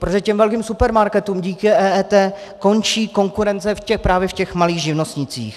Protože těm velkým supermarketům díky EET končí konkurence právě v těch malých živnostnících.